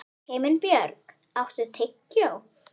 Himinbjörg, áttu tyggjó?